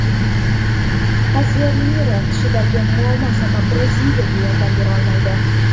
Kazemiro tishidagi muammo sabab Braziliyaga yordam berolmaydi.